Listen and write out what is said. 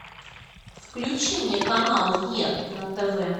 включи мне канал е на тв